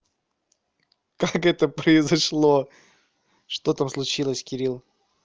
как это произошло что там случилось кирилл